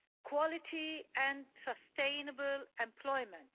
quality and sustainable employment